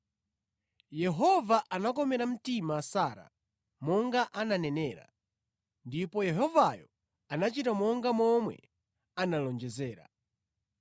Yehova anakomera mtima Sara monga ananenera, ndipo Yehovayo anachita monga momwe analonjezera.